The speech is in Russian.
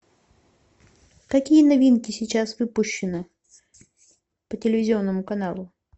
какие новинки сейчас выпущены по телевизионному каналу